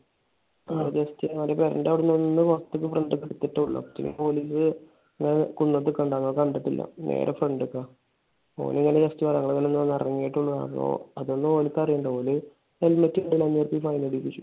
ആഹ് just അവന്റെ പെരേന്റെ അവിടെന്ന് ഒന്ന് പുറത്തേക്ക് front ഇലേക്ക് എടുത്തതേ ഒള്ളു. പോലീസ് ഇങ്ങനെ കുന്നത്ത് നിക്കണിണ്ടായി. ഓൻ കണ്ടില്ല. നേരെ front ഇലേക്ക. ഓൻ ഇന്നലെ just ഞങ്ങൾ ഇങ്ങോട് ഒന്ന് ഇറങ്ങിയപ്പോ അതൊന്നും ഓര്ക്ക് അറിയണ്ട. ഓര് helmet ഇല്ലല്ലോന്നും പറഞ്ഞ് fine അടപ്പിച്ചു.